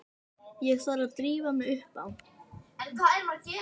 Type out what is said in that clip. Ég þarf að drífa mig upp á